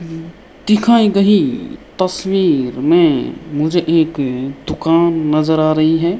दिखाई गयी तस्वीर मे मुझे एक दुकान नज़र आ रही है।